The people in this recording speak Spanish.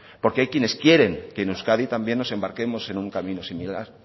porque hay quienes quieren que en euskadi también nos embarquemos en un camino similar